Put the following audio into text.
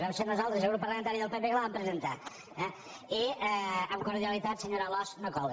vam ser nosaltres i el grup parlamentari del pp que la vam presentar eh i amb cordialitat senyora alòs no cola